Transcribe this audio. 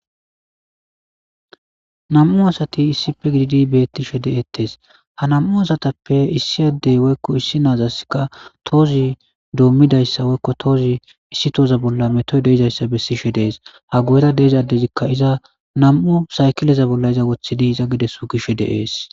nam7u asati issife giidi beettishe de7ettees ha nam7u asatappe issi addey woykko issi naazaskka toozi doommidayssa woykko toozi issi tooza bolla metoy deizayssa bessishe dees ha guyera deezaddezikka iza nam7u saykileza bolla iza wothidi iza gides gishe deees